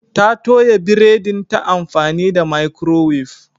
Ta toya biredin ta amfani da microwave.